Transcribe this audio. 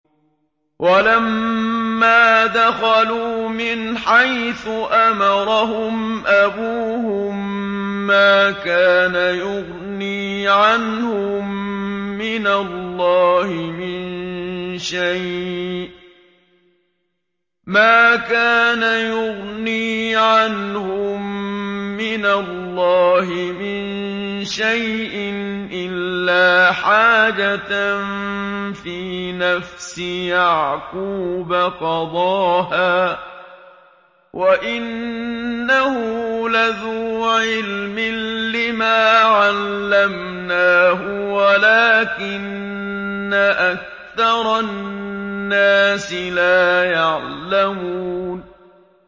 وَلَمَّا دَخَلُوا مِنْ حَيْثُ أَمَرَهُمْ أَبُوهُم مَّا كَانَ يُغْنِي عَنْهُم مِّنَ اللَّهِ مِن شَيْءٍ إِلَّا حَاجَةً فِي نَفْسِ يَعْقُوبَ قَضَاهَا ۚ وَإِنَّهُ لَذُو عِلْمٍ لِّمَا عَلَّمْنَاهُ وَلَٰكِنَّ أَكْثَرَ النَّاسِ لَا يَعْلَمُونَ